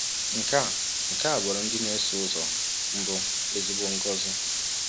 Nke a Nke a bụụrụ ndị na-eso ụzọ mbụ ezigbo ngọzi.